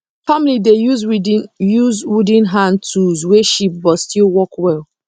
family dey use wooden use wooden hand tools wey cheap but still work well